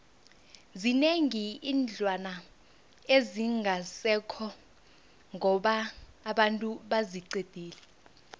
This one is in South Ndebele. zinengi iinlwana ezingasekho ngoba abantu baziqedile